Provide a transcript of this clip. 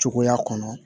Cogoya kɔnɔ